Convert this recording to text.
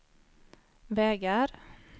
vägar